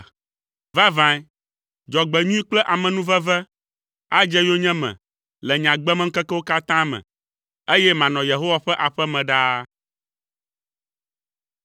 Vavãe, dzɔgbenyui kple amenuveve adze yonyeme le nye agbemeŋkekewo katã me, eye manɔ Yehowa ƒe aƒe me ɖaa.